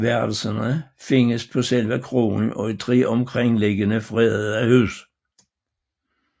Værelserne findes på selve kroen og i 3 omkringliggende fredede huse